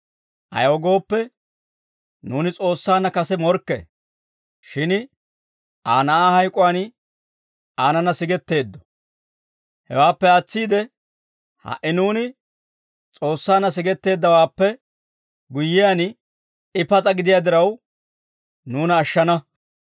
Ayaw gooppe, nuuni S'oossaanna kase morkke; shin Aa Na'aa hayk'uwaan aanana sigetteeddo. Hewaappe aatsiide, ha"i nuuni S'oossaanna sigetteeddawaappe guyyiyaan, I pas'a gidiyaa diraw nuuna ashshana.